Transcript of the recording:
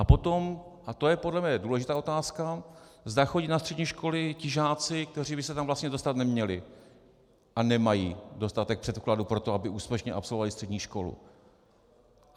A potom, a to je podle mne důležitá otázka, zda chodí na střední školy ti žáci, kteří by se tam vlastně dostat neměli a nemají dostatek předpokladů pro to, aby úspěšně absolvovali střední školu.